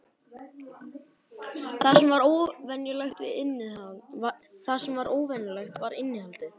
Það sem var óvenjulegt var innihaldið.